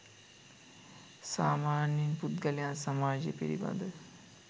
සාමාන්‍ය පුද්ගලයන් සමාජය පිළිබඳ